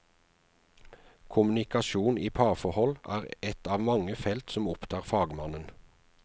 Kommunikasjon i parforhold er et av mange felt som opptar fagmannen.